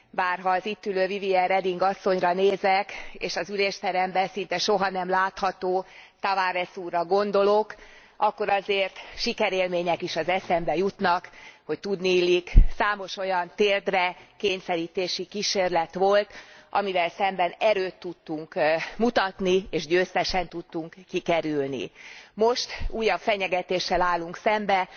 Bár ha az itt ülő Vivien Reding asszonyra nézek és az ülésteremben szinte soha nem látható Tavares úrra gondolok, akkor azért sikerélmények is az eszembe jutnak, hogy tudniillik számos olyan térdre kényszerítési kísérlet volt, amivel szemben erőt tudtunk mutatni, és győztesen tudtunk kikerülni. Most újabb fenyegetéssel állunk szemben.